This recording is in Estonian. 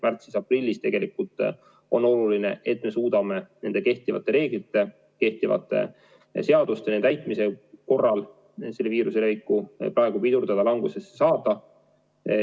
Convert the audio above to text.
Märtsis-aprillis tegelikult on oluline, et me suudame kehtivate reeglite, kehtivate seaduste täitmisega selle viiruse leviku pidurdada, langusesse saada.